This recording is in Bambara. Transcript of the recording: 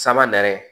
Sama yɛrɛ